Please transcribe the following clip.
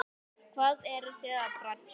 Hvað eruð þið að bralla?